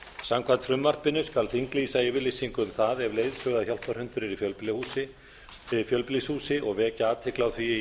samkvæmt frumvarpinu skal þinglýsa yfirlýsingu um það ef leiðsögu og hjálparhundur er í fjölbýlishúsi og vekja athygli á því í